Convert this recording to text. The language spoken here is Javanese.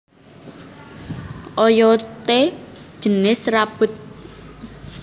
Oyodé jinis serabut